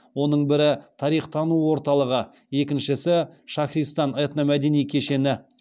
оның бірі тарих тану орталығы екіншісі шахристан этномәдени кешені